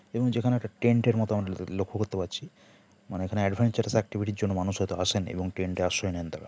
এবং যেখানে একটা টেন্ট এর মতো লক্ষ্য করতে পারছি মানে অ্যাডভেঞ্চারাস অ্যাক্টিভিটি র জন্য মানুষ হয়ত আসেন এবং টেন্ট এ আশ্রয় নেন তারা।